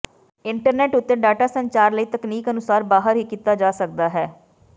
internet ਉੱਤੇ data ਸੰਚਾਰ ਕਈ ਤਕਨੀਕ ਅਨੁਸਾਰ ਬਾਹਰ ਹੀ ਕੀਤਾ ਜਾ ਸਕਦਾ ਹੈ